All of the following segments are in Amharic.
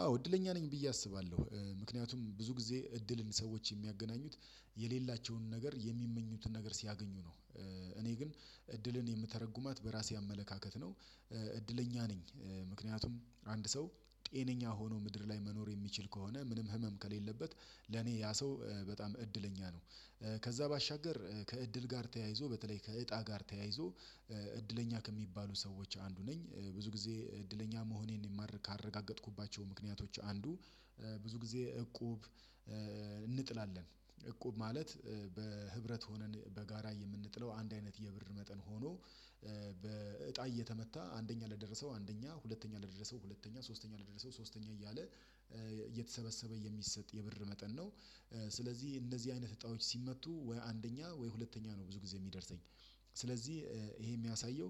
አዎ እድለኛ ነኝ ብዬ አስባለሁ ምክንያቱም ብዙ ጊዜ እድልን ሰዎች የሚያገናኙት የሌላቸውን ነገር የሚመኙትን ነገር ሲያገኙ ነው። እኔ ግን እድልን የምተረጉማት በራሴ አመለካከት ነው። እድለኛ ነኝ ምክንያቱም አንድ ሰው ጤነኛ ሆኖ ምድር ላይ መኖር የሚችል ከሆነ ምንም ህመም ከሌለበት ለኔ ያ ሰው በጣም እድለኛ ነው። ከዛ ባሻገር ከእድል ጋር ተያይዞ በተለይ ከእጣ ጋር ተያይዞ እድለኛ ከሚባሉ ሰዎች አንዱ ነኝ። ብዙ ጊዜ እድለኛ መሆኔን ካረጋገጥኩባቸው ምክንያቶች አንዱ ብዙ ጊዜ እቁብ። እንጥላለን እቁብ ማለት በህብረት ሆነን በጋራ የምንጥለው አንድ አይነት የብር መጠን ሆኖ በእጣ እየተመታ አንደኛ ለደረሰው አንደኛ ሁለተኛ ለደረሰው ሁለተኛ ሶስተኛ ለደረሰው ሶስተኛ እያለ እየተሰበሰበ የሚሰጥ የብር መጠን ነው። ስለዚህ እነዚህ አይነት ህጣዎች ሲመቱ ወይ አንደኛ ወይ ሁለተኛ ነው ብዙ ጊዜ የሚደርሰኝ። ስለዚህ ይሄ የሚያሳየው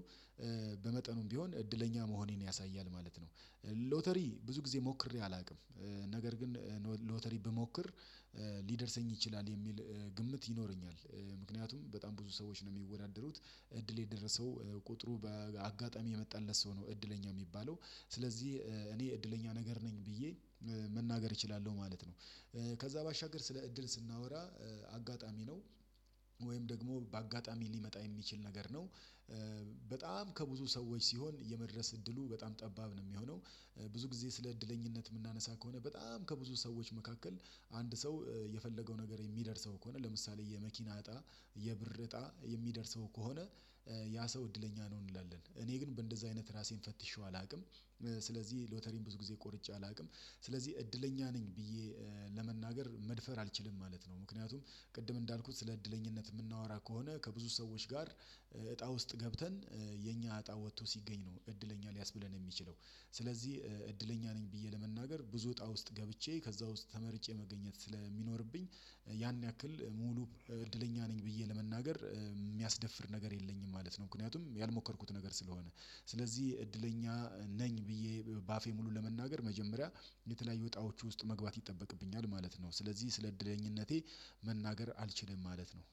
በመጠኑም ቢሆን እድለኛ መሆኔን ያሳያል ማለት ነው። ሎተሪ ብዙ ጊዜ ሞክሬ አላውቅም። ነገር ግን ሎተሪ ብሞክር ሊደርሰኝ ይችላል የሚል ግምት ይኖረኛል። ምክንያቱም በጣም ብዙ ሰዎች ነው የሚወዳደሩት እድል የደረሰው ቁጥሩ በአጋጣሚ የመጣለት ሰው ነው እድለኛ የሚባለው ስለዚህ እኔ እድለኛ ነገር ነኝ ብዬ መናገር እችላለሁ ማለት ነው። ከዛ ባሻገር ስለ እድል ስናወራ አጋጣሚ ነው። ወይም ደግሞ በአጋጣሚ ሊመጣ የሚችል ነገር ነው። በጣም ከብዙ ሰዎች ሲሆን የመድረስ እድሉ በጣም ጠባብ ነው የሚሆነው። ብዙ ጊዜ ስለ እድለኝነት የምናነሳ ከሆነ በጣም ከብዙ ሰዎች መካከል አንድ ሰው የፈለገው ነገር የሚደርሰው ከሆነ ለምሳሌ የመኪና እጣ የብር እጣ የሚደርሰው ከሆነ ያ ሰው እድለኛ ነው እንላለን እኔ ግን እንደዛ አይነት ራሴን ፈትሼው አላውቅም። ስለዚህ ሎተሪን ብዙ ጊዜ ቆርጬ አላውቅም ስለዚህ እድለኛ ነኝ ብዬ ለመናገር መድፈር አልችልም ማለት ነው። ምክንያቱም ቅድም እንዳልኩት ስለ እድለኝነት የምናወራ ከሆነ ከብዙ ሰዎች ጋር እጣ ውስጥ ገብተን የኛ እጣ ወጥቶ ሲገኝ ነው እድለኛ ሊያስብለን የሚችለው። ስለዚህ እድለኛ ነኝ ብዬ ለመናገር ብዙ እጣ ውስጥ ገብቼ ከዛ ውስጥ ተመርጬ መገኘት ስለሚኖርብኝ ያን ያክል ሙሉ እድለኛ ነኝ ብዬ ለመናገር የሚያስደፍር ነገር የለኝም ማለት ነው። ምክንያቱም ያልሞከርኩት ነገር ስለሆነ ስለዚህ እድለኛ ነኝ ብዬ በአፌ ሙሉ ለመናገር መጀመሪያ የተለያዩ ወጣዎች ውስጥ መግባት ይጠበቅብኛል ማለት ነው። ስለዚህ ስለ እድለኝነቴ መናገር አልችልም ማለት ነው።